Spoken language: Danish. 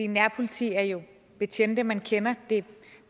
nærpoliti er jo betjente man kender det er